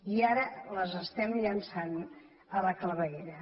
i ara les estem llençant a la claveguera